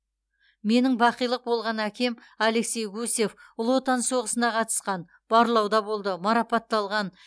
менің бақилық болған әкем алексей гусев ұлы отан соғысына қатысқан барлауда болды марапатталған